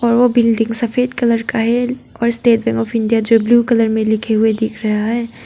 और वो बिल्डिंग सफेद कलर का है और स्टेट बैंक ऑफ इंडिया जो ब्लू कलर में लिखे हुए दिख रहा है।